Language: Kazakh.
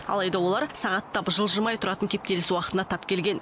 алайда олар сағаттап жылжымай тұратын кептеліс уақытына тап келген